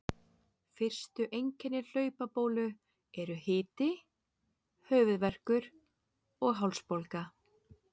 Fyrstu einkenni hlaupabólu eru hiti, höfuðverkur og hálsbólga.